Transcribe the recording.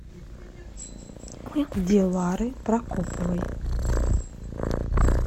дилары прокоповой